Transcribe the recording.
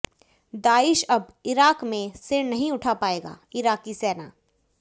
Daesh अब Iraq में सिर नहीं उठा पाएगाः इराक़ी सेना